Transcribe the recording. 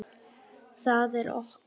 Það er okkar.